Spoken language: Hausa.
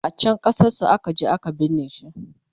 a can ƙasar su akaje a ka binne shi